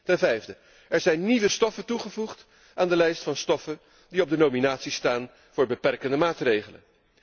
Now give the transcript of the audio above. Ten vijfde, er zijn nieuwe stoffen toegevoegd aan de lijst van stoffen die op de nominatie staan voor beperkende maatregelen.